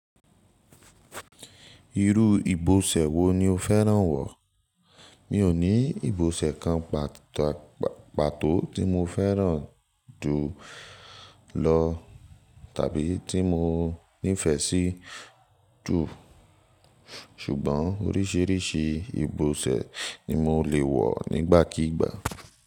Irú ìbòsẹ̀ wo ni o fẹ́ràn wọ̀? Mi ò ní ìbòsẹ̀ kan patọ pàtó tí mo fẹ́ràn jù lọ tàbí tí mo nífẹ̀ẹ́ sí jù, ṣùgbọ́n oríṣiríṣi ìbòsẹ̀ ni mo le wọ̀ nígbàkígbà.